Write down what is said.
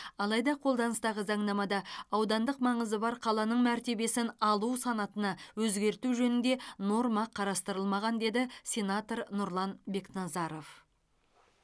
алайда қолданыстағы заңнамада аудандық маңызы бар қаланың мәртебесін алу санатына өзгерту жөнінде норма қарастырылмаған деді сенатор нұрлан бекназаров